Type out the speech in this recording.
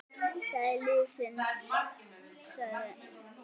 Það er lífsins saga.